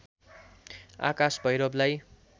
आकाश भैरवलाई